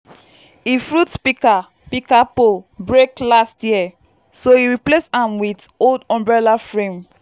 e fruit pika pika pole break last year so e replace am with old umbrella frame.